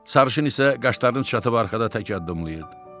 Sarışın isə qaşlarını çatılıb arxada tək addımlayırdı.